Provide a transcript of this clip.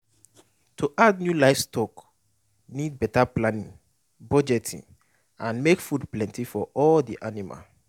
to add new livestock need better planning budgeting and make food plenty for all the animal